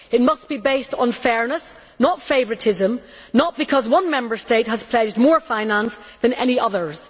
It must be based on fairness, not favouritism, not because one Member State has pledged more finance than any others.